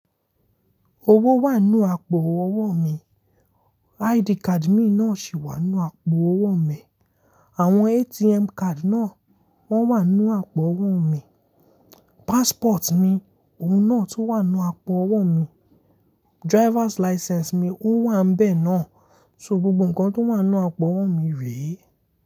Owó wà nínú àpò owó mi, ID card mi náà sì wà nínú àpò owó mi, àwọn ATM card náà wọ́n wà nínú àpò owó mi, passport mi òun náà tò wà nínú àpò owó mi, driver's license mi òun wà bẹ́ẹ̀ náà. So gbogbo ǹkan tó wà nínú àpò owó mi rèé.